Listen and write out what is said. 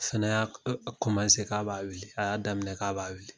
Fana y'a k'a b'a wuli a y'a daminɛ k'a b'a wuli